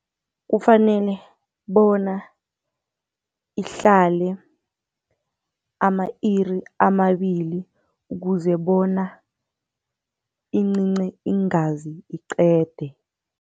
Kufanele bona ihlale ama-iri amabili ukuze bona incince iingazi iqede.